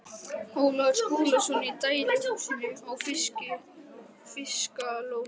Ólafur Skúlason í dæluhúsinu á Fiskalóni.